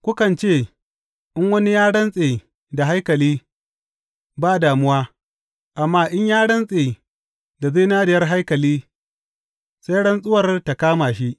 Kukan ce, In wani ya rantse da haikali, ba damuwa; amma in ya rantse da zinariyar haikali, sai rantsuwar ta kama shi.’